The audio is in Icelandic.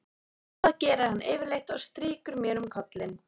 Það gerir hann yfirleitt og strýkur mér um kollinn.